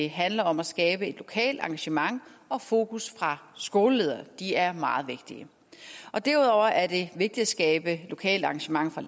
handler om at skabe et lokalt engagement og fokus fra skoleledernes de er meget vigtige og derudover er det vigtigt at skabe et lokalt engagement fra